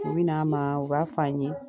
U bɛ n'an ma u b'a f'an ye